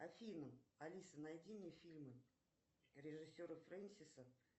афина алиса найди мне фильмы режиссера фрэнсиса